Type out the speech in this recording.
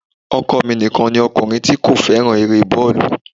Ọkọ mi nìkan ni ọkùnrin tí mọ̀ tí kò fẹ́ràn eré bọ́ọ̀lù